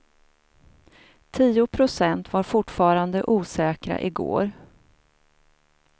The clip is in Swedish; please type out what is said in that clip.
Tio procent var fortfarande osäkra i går.